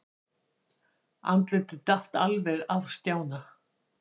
Andlitið datt alveg af Stjána.